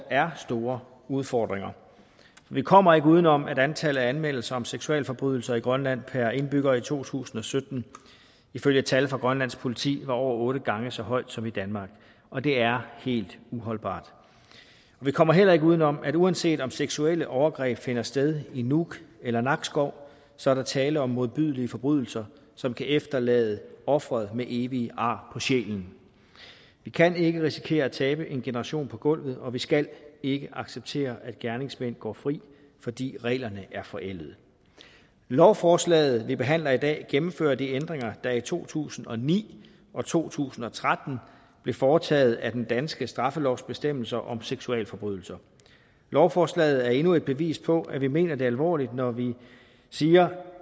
er store udfordringer vi kommer ikke uden om at antallet af anmeldelser af seksualforbrydelser i grønland per indbygger i to tusind og sytten ifølge tal fra grønlands politi var over otte gange så højt som i danmark og det er helt uholdbart vi kommer heller ikke uden om at uanset om seksuelle overgreb finder sted i nuuk eller nakskov så er der tale om modbydelige forbrydelser som kan efterlade ofret med evige ar på sjælen vi kan ikke risikere at tabe en generation på gulvet og vi skal ikke acceptere at gerningsmænd går fri fordi reglerne er forældede lovforslaget vi behandler i dag gennemfører de ændringer der i to tusind og ni og to tusind og tretten blev foretaget af den danske straffelovs bestemmelser om seksualforbrydelser lovforslaget er endnu et bevis på at vi mener det alvorligt når vi siger